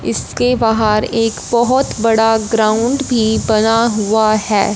इसके बाहर एक बहुत बड़ा ग्राउंड भी बना हुआ है।